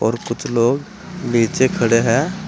और कुछ लोग नीचे खड़े हैं।